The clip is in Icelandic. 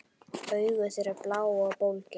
Augu þeirra blá og bólgin.